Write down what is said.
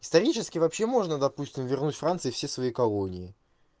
исторически вообще можно допустим вернуть франции все свои колонии